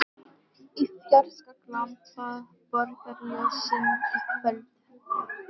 Í fjarska glampa borgarljósin í kvöldhúminu.